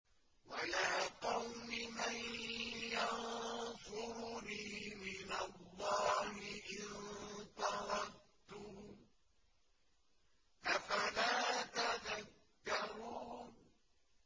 وَيَا قَوْمِ مَن يَنصُرُنِي مِنَ اللَّهِ إِن طَرَدتُّهُمْ ۚ أَفَلَا تَذَكَّرُونَ